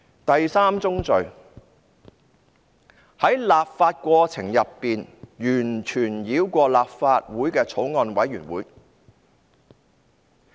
第三宗罪，是在立法過程中完全繞過立法會的法案委員會。